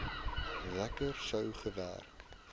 werker sou gekry